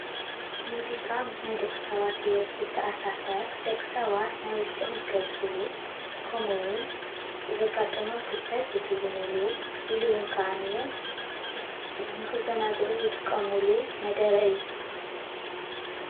ሙዚቃ ምስ ናይ ደቂ ሰባት ሂወት ዝተኣሳሰር ደቂ ሰባት ናይ ውሽጦም ዝገልፅሉ ከምኡ እውን ዘጋጠሞም ክስተት ዝትውንሉ ኢሉ እውን ከዓነየአይ ንክዛነግዕሉ ዝጥቀምሉ መደረ እዩ፡፡